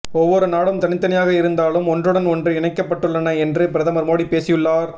ஒவ்வொரு நாடும் தனித்தனியாக இருந்தாலும் ஒன்றுடன் ஒன்று இணைக்கப்பட்டுள்ளன என்று பிரதமர் மோடி பேசியுள்ளார்